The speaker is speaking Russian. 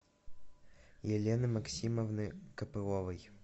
елены максимовны копыловой